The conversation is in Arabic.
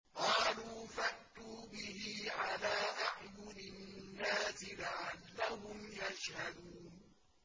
قَالُوا فَأْتُوا بِهِ عَلَىٰ أَعْيُنِ النَّاسِ لَعَلَّهُمْ يَشْهَدُونَ